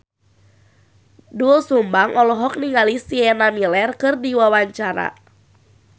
Doel Sumbang olohok ningali Sienna Miller keur diwawancara